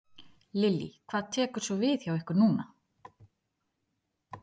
Lillý: Hvað tekur svo við hjá ykkur núna?